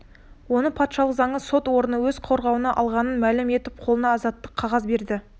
оны патшалық заңы сот орны өз қорғауына алғанын мәлім етіп қолына азаттық қағаз береді